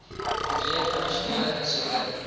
ontleed addisionele insette